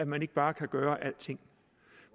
man ikke bare kan gøre alting